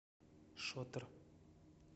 шотер